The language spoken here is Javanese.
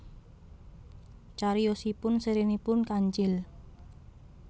Cariyosipun sèrinipun Kancil